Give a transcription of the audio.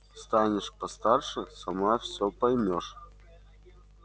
станешь постарше сама всё поймёшь